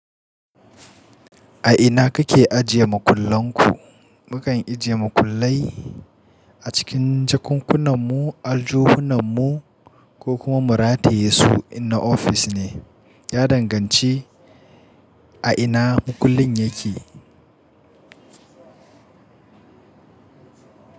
A ina kake ajiye makullan ku? Mu kan ajiye makullai a cikin jakunkunanmu, aljohunanmu ko kuma mu rataye su in na ofis ne. Ya danganci a ina mukullin yake.